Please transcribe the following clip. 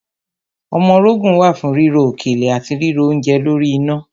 Ọmọrogùn wà fún ríro òkèlè àti ríro oúnje lórí iná.